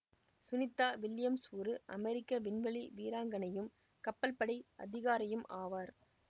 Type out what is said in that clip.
Sunita Williams ஒரு அமெரிக்க விண்வெளி வீராங்கனையும் கப்பல்படை அதிகாரியும் ஆவார்